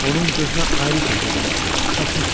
Onun gözünə ayrı şey görünmüşdü, o çaşmışdı.